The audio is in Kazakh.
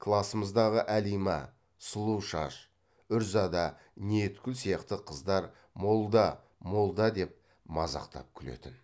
класымыздағы әлима сұлушаш үрзада ниеткүл сияқты қыздар молда молда деп мазақтап күлетін